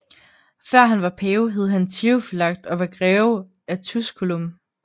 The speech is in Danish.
Før han var pave hed han Theofylakt og var Greve af Tusculum